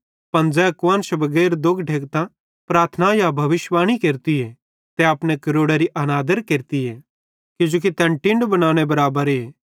पन ज़ै कुआन्श बगैर दोग ढेकतां प्रार्थना या भविष्यिवाणी केरतीए तै अपने क्रोड़ारी अनादर केरती किजोकि तैन टिनडी भोनेरे बराबरे